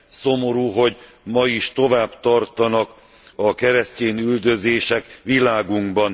Szomorú, hogy ma is tovább tartanak a keresztyénüldözések világunkban.